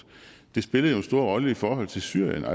det spillede jo en stor rolle i forhold til syrien